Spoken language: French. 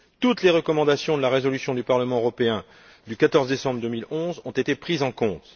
Toutes les recommandations de la résolution du Parlement européen du 14 décembre 2011 ont été prises en compte.